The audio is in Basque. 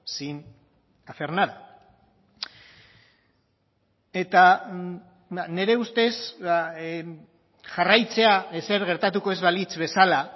sin hacer nada eta nire ustez jarraitzea ezer gertatuko ez balitz bezala